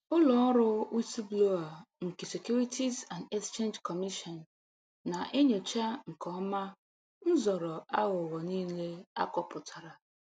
Ụlọ ọrụ Whistleblower nke Securities and Exchange Commission na-enyocha nke ọma nzọrọ aghụghọ niile akọpụtara